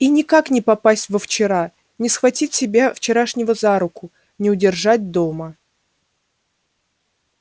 и никак не попасть во вчера не схватить себя вчерашнего за руку не удержать дома